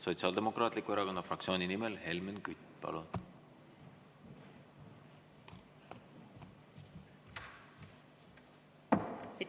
Sotsiaaldemokraatliku Erakonna fraktsiooni nimel Helmen Kütt, palun!